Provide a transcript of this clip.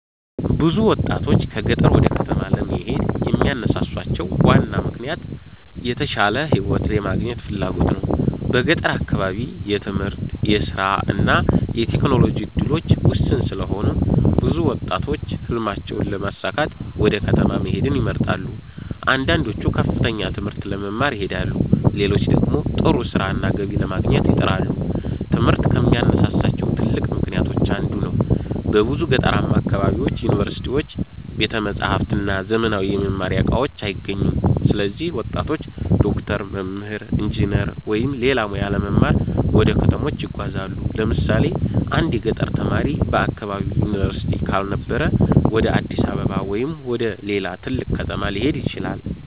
ብዙ ወጣቶች ከገጠር ወደ ከተሞች ለመሄድ የሚያነሳሳቸው ዋና ምክንያት የተሻለ ሕይወት የማግኘት ፍላጎት ነው። በገጠር አካባቢ የትምህርት፣ የሥራ እና የቴክኖሎጂ እድሎች ውስን ስለሆኑ ብዙ ወጣቶች ሕልማቸውን ለማሳካት ወደ ከተማ መሄድን ይመርጣሉ። አንዳንዶቹ ከፍተኛ ትምህርት ለመማር ይሄዳሉ፣ ሌሎች ደግሞ ጥሩ ሥራና ገቢ ለማግኘት ይጥራሉ። ትምህርት ከሚያነሳሳቸው ትልቅ ምክንያቶች አንዱ ነው። በብዙ ገጠራማ አካባቢዎች ዩኒቨርሲቲዎች፣ ቤተ መጻሕፍት እና ዘመናዊ የመማሪያ እቃዎች አይገኙም። ስለዚህ ወጣቶች ዶክተር፣ መምህር፣ ኢንጂነር ወይም ሌላ ሙያ ለመማር ወደ ከተሞች ይጓዛሉ። ለምሳሌ አንድ የገጠር ተማሪ በአካባቢው ዩኒቨርሲቲ ካልነበረ ወደ አዲስ አበባ ወይም ወደ ሌላ ትልቅ ከተማ ሊሄድ ይችላል።